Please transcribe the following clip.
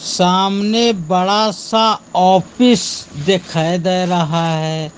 सामने बड़ा सा ऑफिस दिखाई दे रहा है।